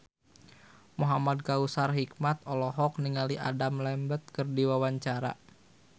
Muhamad Kautsar Hikmat olohok ningali Adam Lambert keur diwawancara